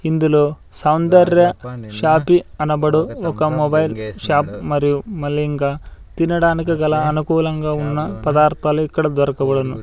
ఇందులో సౌందర్య షాపి అనబడు ఒక మొబైల్ షాప్ మరియు మళ్ళి ఇంకా తినడానికి గల అనుకూలంగా ఉన్న పదార్థాలు ఇక్కడ దొరకబడును.